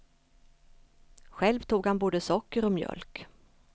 Själv tog han både socker och mjölk.